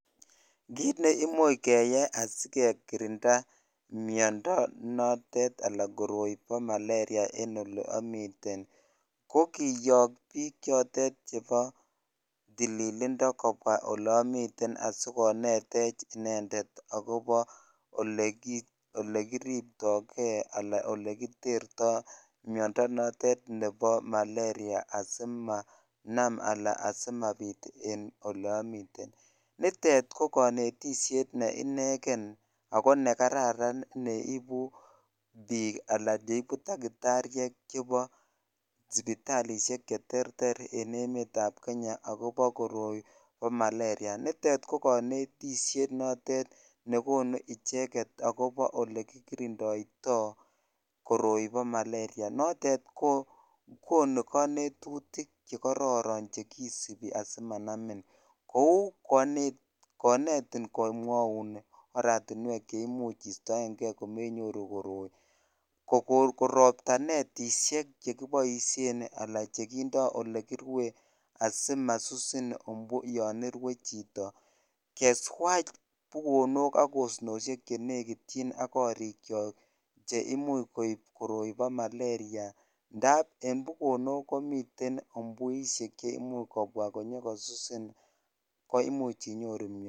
Kiit neimuch keyai asikekirinda miondo notet alaan koroi eb malaria en olii omiten ko kiyok biik chotet chebo tililindo kobwa olomiten asikonetech inendet akobo olekiribtoke alaa oleterto miondo notet nebo malaria asimanam alaa asimabit en olee omiten, nitet ko konetishet nee ineken ak ko nekararan neibu biik alaa cheibu takitarishek chebo sipitalishek cheterter en emetab Kenya akobo koroi bo malaria, nitet ko konetishet nekonu icheket akobo olekikirindoito koroi bo malaria, notet ko konuu konetutik chekororon chekisibi asimanamin, kouu konetin komwoun oratinwek cheimuch istoenge komenyoru koroi, ko koon korobta netishek chekiboishen alaa chekindo olekirwen asimasusin umbu yoon irwe chito, keswach bukonok ak asnoshek chenekityin ak korikyok che imuch koib koroi bo malaria ndab en bukonok komiten umbuishek cheimuch kobwa konyo kosusin koimuch inyoru miondo.